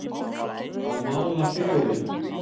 Að mála fegurðina